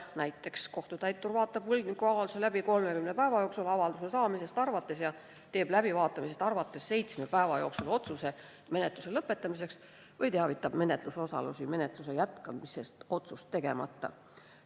Näiteks kohtutäitur vaatab võlgniku avalduse läbi 30 päeva jooksul alates avalduse saamisest ja teeb seitsme päeva jooksul alates läbivaatamisest otsuse menetluse lõpetamise kohta või teavitab menetlusosalisi menetluse jätkamisest otsust tegemata.